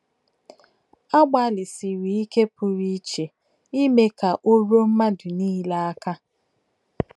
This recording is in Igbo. A gbalịsịrị ike pụrụ iche ime ka o ruo mmadụ niile aka.